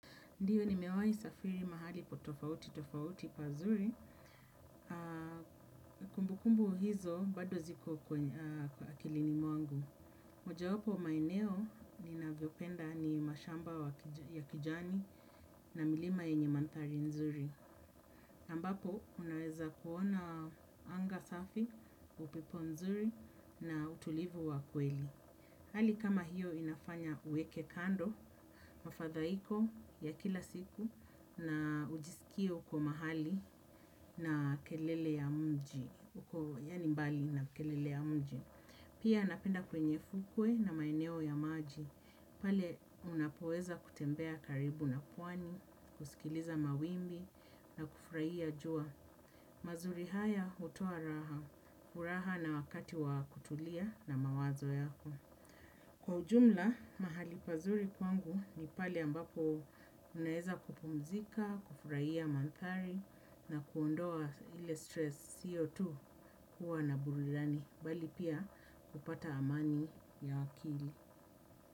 Ndiyo nimewai safiri mahali po tofauti tofauti pazuri, kumbukumbu hizo bado ziko kwa akilini mwangu. Mojawapo ya maeneo ninavyopenda ni mashamba ya kijani na milima yenye mandhari nzuri. Ambapo unaweza kuona anga safi, upepo nzuri na utulivu wa kweli. Hali kama hiyo inafanya uweke kando, mafadhaiko ya kila siku na ujisikie uko mahali na kelele ya mji, uko yani mbali na kelele ya mji. Pia napenda kwenye fukwe na maeneo ya maji, pale unapoweza kutembea karibu na pwani, kusikiliza mawimbi na kufurahia jua. Mazuri haya hutoa raha, furaha na wakati wa kutulia na mawazo yako. Kwa ujumla, mahali pazuri kwangu ni pale ambapo unaeza kupumzika, kufurahia mandhari na kuondoa ile stress siyo tu kuwa na burudani, bali pia kupata amani ya akili.